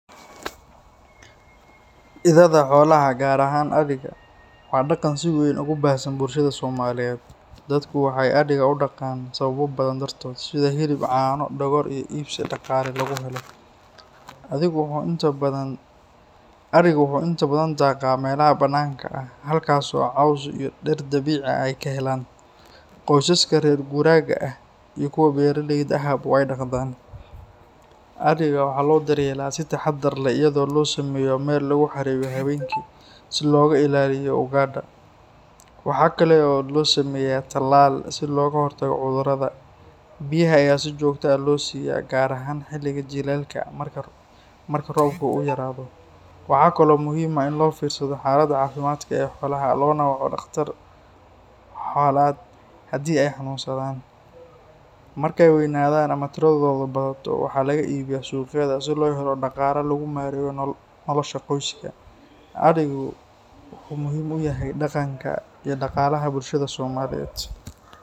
Idaada xoolaha, gaar ahaan adhiga, waa dhaqan si weyn ugu baahsan bulshada Soomaaliyeed. Dadku waxay adhiga u dhaqaan sababo badan dartood, sida hilib, caano, dhogor iyo iibsi dhaqaale lagu helo. Adhigu wuxuu inta badan daaqaa meelaha bannaanka ah, halkaas oo caws iyo dhir dabiici ah ay ka helaan. Qoysaska reer guuraaga ah iyo kuwa beeraleyda ahba way dhaqdaan. Adhiga waxaa loo daryeelaa si taxaddar leh, iyadoo loo sameeyo meel lagu xareeyo habeenkii si looga ilaaliyo ugaadha. Waxa kale oo loo sameeyaa tallaal si looga hortago cudurrada. Biyaha ayaa si joogto ah loo siiyaa, gaar ahaan xilliga jiilaalka marka roobka uu yaraado. Waxaa kaloo muhiim ah in loo fiirsado xaaladda caafimaad ee xoolaha, loona waco dhakhtar xoolaad haddii ay xanuunsadaan. Markay weynaadaan ama tiradoodu badato, waxaa laga iibiyaa suuqyada si loo helo dhaqaale lagu maareeyo nolosha qoyska. Adhigu wuxuu muhiim u yahay dhaqanka iyo dhaqaalaha bulshada Soomaaliyeed.